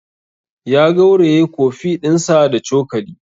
Ya gauraye coffee ɗinsa da cokali.